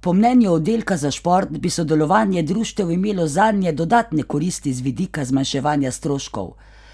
Po mnenju oddelka za šport bi sodelovanje društev imelo zanje dodatne koristi z vidika zmanjševanja stroškov,